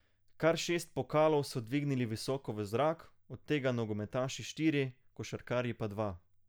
Kar šest pokalov so dvignili visoko v zrak, od tega nogometaši štiri, košarkarji pa dva.